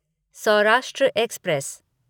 Saurashtra express